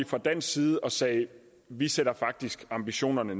fra dansk side og sagde vi sætter faktisk ambitionerne